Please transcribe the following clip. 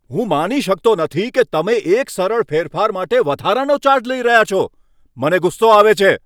હું માની શકતો નથી કે તમે એક સરળ ફેરફાર માટે વધારાનો ચાર્જ લઈ રહ્યા છો. મને ગુસ્સો આવે છે.